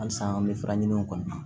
Halisa an bɛ faraɲiniw kɔ